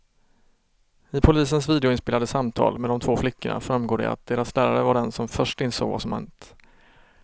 I polisens videoinspelade samtal med de två flickorna framgår det att deras lärare var den som först insåg vad som hänt.